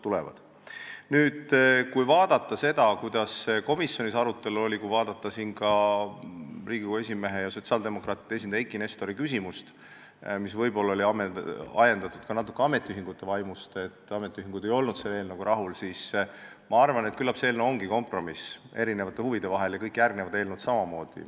Kui nüüd vaadata seda komisjoni arutelu ja ka Riigikogu esimehe ja sotsiaaldemokraatide esindaja Eiki Nestori küsimust, mis oli võib-olla natuke ametiühingute vaimust ajendatud – ametiühingud ei olnud selle eelnõuga rahul –, siis ma arvan, et küllap see eelnõu ja samamoodi kõik järgnevad eelnõud ongi kompromiss erinevate huvide vahel.